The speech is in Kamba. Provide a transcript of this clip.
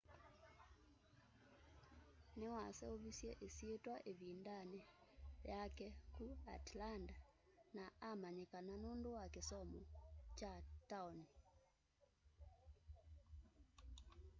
niwaseuvisye isyitwa ivindani yake ku atlanta na amanyikana nundu wa kisomo kya taoni